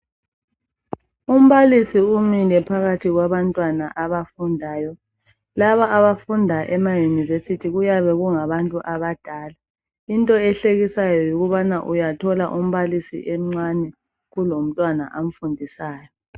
Umbalisi umile phakathi kwabantwana abafundayo, laba abafunda ema yunivesithi kuyabe kungabantu abadala. Into ehlekisayo yikubana uyathola umbalisi emncane kulo mntwana amfundisayo.